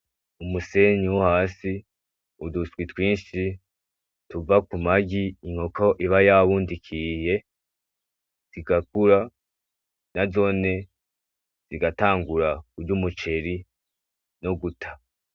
Umusenyi wo hasi, uduswi twinshi tuva mu magi inkoko iba yabundikiriye ,zigakura nazone zigatangura kurya umuceri no guta.